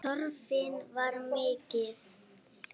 Þörfin var mikil.